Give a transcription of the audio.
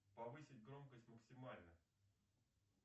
повысить громкость максимально